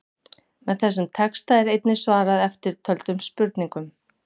Með þessum texta er einnig svarað eftirtöldum spurningum: